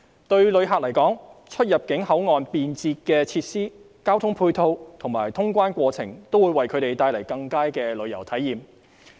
對旅客來說，出入境口岸便捷的設施、交通配套及通關過程，都會為他們帶來更佳的旅遊體驗。